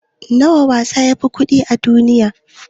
wana wasa yafi kawo kuɗi a duniya?